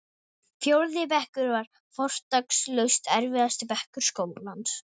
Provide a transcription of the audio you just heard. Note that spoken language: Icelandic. Fjórði bekkur var fortakslaust erfiðasti bekkur skólans.